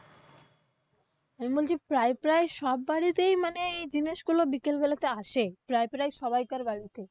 আমি বলছি প্রায় প্রায় সব বাড়িতেই এই জিনিসগুলো বিকেলবেলাতে আসে, প্রায় প্রায় সবইকার বাড়িতে।